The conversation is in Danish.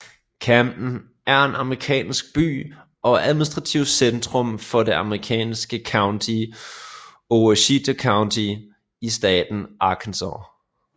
Camden er en amerikansk by og administrativt centrum for det amerikanske county Ouachita County i staten Arkansas